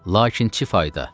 Lakin çi fayda?